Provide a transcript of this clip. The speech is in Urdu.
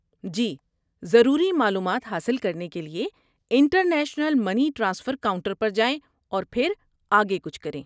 جی، ضروری معلومات حاصل کرنے کے لیے انٹرنیشنل منی ٹرانسفر کاؤنٹر پر جائیں اور پھر آگے کچھ کریں۔